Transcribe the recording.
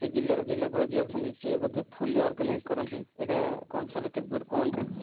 ସେ ଜିଲ୍ଲାର ଜିଲ୍ଲାପାଳ ଯିଏ ଅଛନ୍ତି ସେ ବୋଧେ fully organize କରନ୍ତି ଏଇଟା କଣ sir କେତେଦୂର ମତେ ଟିକେ କହୁନାହାନ୍ତି